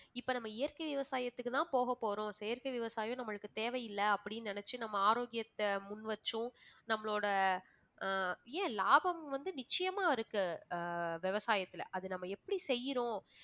இப்ப நம்ம இயற்கை விவசாயத்திற்கு தான் போகப் போறோம் செயற்கை விவசாயம் நம்மளுக்கு தேவை இல்லை அப்படின்னு நினைச்சு நம்ம ஆரோக்கியத்தை முன்வெச்சும் நம்மளோட அஹ் ஏன் லாபம் வந்து நிச்சயமா இருக்கு அஹ் விவசாயத்தில அத நம்ம எப்படி செய்யுறோம்